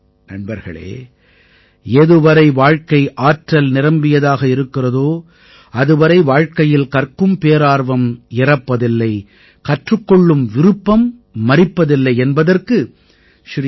நண்பர்களே எதுவரை வாழ்க்கை ஆற்றல் நிரம்பியதாக இருக்கிறதோ அதுவரை வாழ்க்கையில் கற்கும் பேரார்வம் இறப்பதில்லை கற்றுக் கொள்ளும் விருப்பம் மரிப்பதில்லை என்பதற்கு ஸ்ரீ டீ